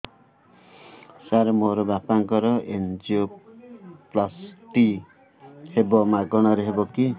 ସାର ମୋର ବାପାଙ୍କର ଏନଜିଓପ୍ଳାସଟି ହେବ ମାଗଣା ରେ ହେବ କି